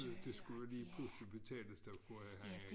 Det skulle jo lige pludselig betales der tror jeg han ikke